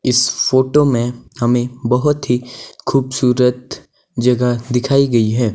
इस फोटो में हमें बहुत ही खूबसूरत जगह दिखाई गई है।